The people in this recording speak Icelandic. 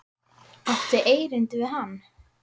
Áttu erindi við hann?